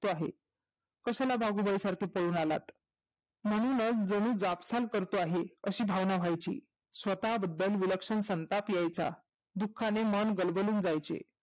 आहे. कशाला भागुबाई सारखे पळून आलात? मनी मन जाकसान करतो आहे अशी भावना व्हायची. स्वतः बद्दल विलक्षण सन ताप यायचा, दुख्खाने मन गलबलून जायचे.